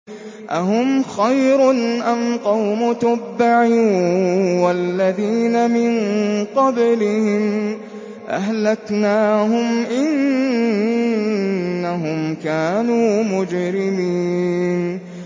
أَهُمْ خَيْرٌ أَمْ قَوْمُ تُبَّعٍ وَالَّذِينَ مِن قَبْلِهِمْ ۚ أَهْلَكْنَاهُمْ ۖ إِنَّهُمْ كَانُوا مُجْرِمِينَ